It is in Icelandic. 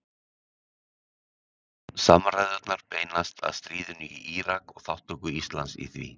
Samræðurnar beinast að stríðinu í Írak og þátttöku Íslands í því.